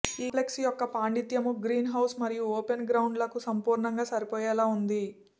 ఈ కాంప్లెక్స్ యొక్క పాండిత్యము గ్రీన్హౌస్ మరియు ఓపెన్ గ్రౌండ్ లకు సంపూర్ణంగా సరిపోయేలా ఉంది